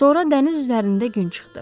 Sonra dəniz üzərində gün çıxdı.